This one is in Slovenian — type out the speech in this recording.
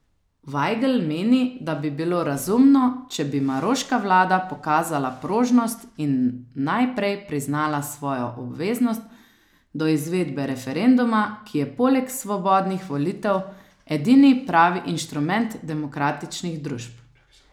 Vajgl meni, da bi bilo razumno, če bi maroška vlada pokazala prožnost in najprej priznala svojo obveznost do izvedbe referenduma, ki je poleg svobodnih volitev edini pravi instrument demokratičnih družb.